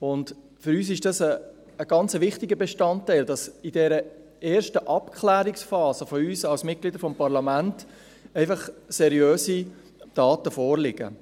Für uns ist das ein ganz wichtiger Bestandteil, dass in dieser ersten Abklärungsphase von uns als Mitgliedern des Parlaments einfach seriöse Daten vorliegen.